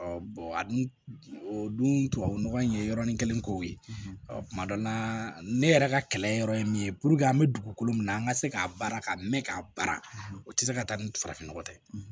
Ɔ a dun o dun tubabu nɔgɔ in ye yɔrɔnin kelen kow ye kuma dɔ la ne yɛrɛ ka kɛlɛ yɔrɔ ye min ye an bɛ dugukolo min na an ka se k'a baara ka mɛn k'a baara o tɛ se ka taa ni farafin nɔgɔ tɛ